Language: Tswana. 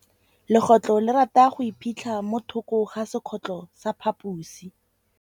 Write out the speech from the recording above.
Legôtlô le rata go iphitlha mo thokô ga sekhutlo sa phaposi.